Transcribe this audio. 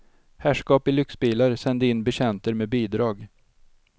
Herrskap i lyxbilar sände in betjänter med bidrag.